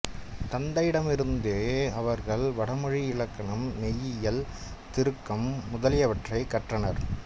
தந்தையிடமிருந்தே அவர்கள் வடமொழி இலக்கணம் மெய்யியல் தருக்கம் முதலியவற்றைக் கற்றனர்